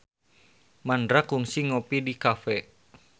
Mandra kungsi ngopi di cafe